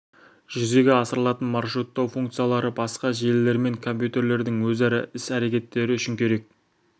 жүзеге асырылатын маршруттау функциялары басқа желілермен компьютерлердің өзара іс-әрекеттері үшін керек